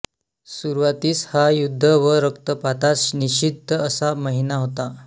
सुरवातीस हा युद्ध व रक्तपातास निशिद्ध असा महिना होता